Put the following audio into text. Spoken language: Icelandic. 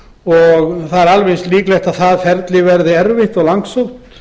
og eins líklegt að ferlið verði erfitt og langsótt